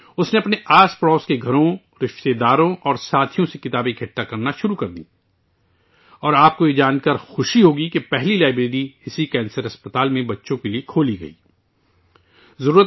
اس نے اپنے پڑوس کے گھروں، رشتہ داروں اور ساتھیوں سے کتابیں جمع کرنا شروع کیں اور آپ کو یہ جان کر خوشی ہوگی کہ اسی کینسر اسپتال میں بچوں کے لیے پہلی لائبریری کھولی گئی تھی